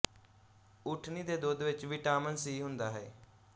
ਉੱਠਣੀ ਦੇ ਦੁਧ ਵਿੱਚ ਵਿਟਾਮੀਨ ਸੀ ਹੁੰਦਾ ਹੇ